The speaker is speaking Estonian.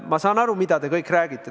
Ma saan aru, mida te kõik räägite.